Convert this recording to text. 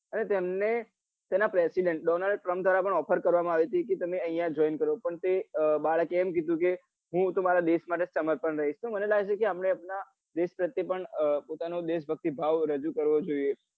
અને તેમને તેના president Donald Trump દ્વારા પણ offer કરવા માં આવી હતી કે તમે અહિયાં join કરો પણ તે બાળકે એમ કીધું કે હું તો મારા દેશ માટે જ સમર્પણ રહીશ તો મને લાગ્યું કે આપડે આપડા દેશ પ્રત્યે પણ પોતાનો દેશ ભક્તિ ભાવ રજુ કરવો જોઈએ.